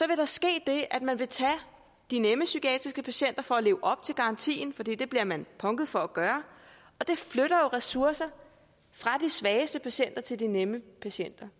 vil der ske det at man vil tage de nemme psykiatriske patienter for at leve op til garantien for det bliver man punket for at gøre og det flytter jo ressourcer fra de svageste patienter til de nemme patienter